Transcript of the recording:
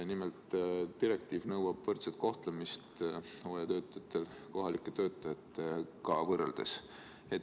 Nimelt, direktiiv nõuab hooajatöötajate võrdset kohtlemist kohalike töötajatega võrreldes.